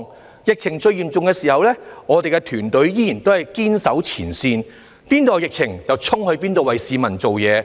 在疫情最嚴重的時候，我們的團隊仍然堅守前線，那裏有疫情，便衝去那裏為市民服務。